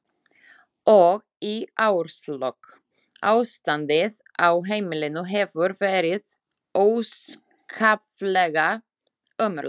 Og í árslok: Ástandið á heimilinu hefur verið óskaplega ömurlegt.